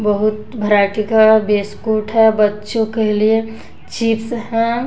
बहुत भेरायटी का बिस्कुट है बच्चों के लिए चिप्स है।